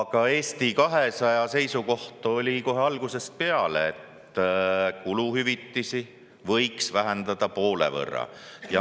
Ka Eesti 200 seisukoht on kohe algusest peale olnud, et kuluhüvitisi võiks vähendada poole võrra.